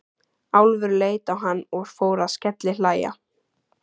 Álfur leit á hann og fór að skellihlæja.